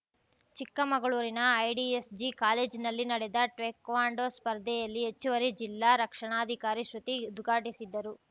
ಚಿಕ್ಕಮಗಳೂರಿನ IDSG college ನಲ್ಲಿ ನಡೆದ ಟೇಕ್ವಾಂಡೋ ಸ್ಪರ್ಧೆಯಲ್ಲಿ ಹೆಚ್ಚುವರಿ ಜಿಲ್ಲಾ ರಕ್ಷಣಾಧಿಕಾರಿ ಶೃತಿ ಉದ್ಘಾಟಿಸಿದ್ದರು